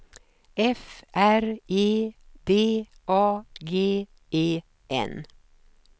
F R E D A G E N